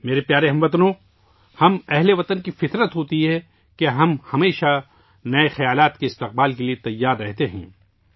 میرے پیارے ہم وطنو، یہ ہم بھارت کے رہنے والوں کی فطرت ہوتی ہے کہ ہم نئے خیالات کا استقبال کرنے کے لیے ہمیشہ تیار رہتے ہیں